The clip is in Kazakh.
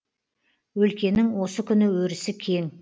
өлкенің осы күні өрісі кең